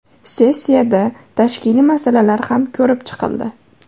Sessiyada tashkiliy masalalar ham ko‘rib chiqildi.